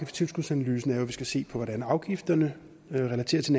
tilskudsanalysen er jo at vi skal se på hvordan afgifterne relaterer til